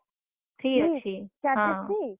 free?